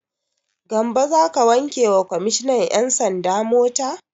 Gambo za ka wanke wa kwammishinan 'yan sanda mota?